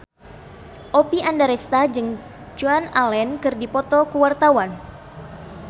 Oppie Andaresta jeung Joan Allen keur dipoto ku wartawan